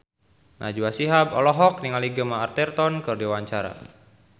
Najwa Shihab olohok ningali Gemma Arterton keur diwawancara